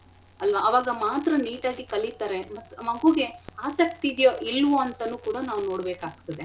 ಅಲ್ವಾ ಅವಾಗ ಮಾತ್ರ neat ಆಗಿ ಕಲಿತರೆ ಮತ್ತ್ ಮಗುಗೆ ಆಸಕ್ತಿ ಇದಿಯೋ ಇಲ್ವೋ ಅಂತನೂ ಕೂಡ ನಾವ್ ನೋಡ್ಬೆಕಾಗ್ತದೆ.